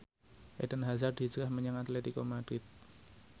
Eden Hazard hijrah menyang Atletico Madrid